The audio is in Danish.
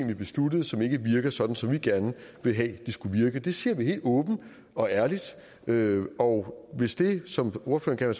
vi besluttede som ikke virker sådan som vi gerne ville have de skulle virke det siger vi helt åbent og ærligt ærligt og hvis det som ordføreren